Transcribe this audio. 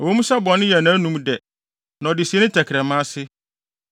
“Ɛwɔ mu sɛ bɔne yɛ nʼanom dɛ na ɔde sie ne tɛkrɛma ase,